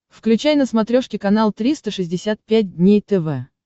включай на смотрешке канал триста шестьдесят пять дней тв